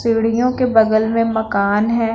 सीडियों के बगल में मकान है।